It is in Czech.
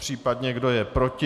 Případně kdo je proti?